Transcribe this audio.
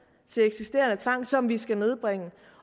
til eksisterende tvang som vi skal nedbringe